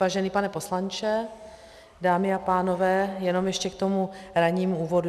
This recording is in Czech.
Vážený pane poslanče, dámy a pánové, jenom ještě k tomu rannímu úvodu.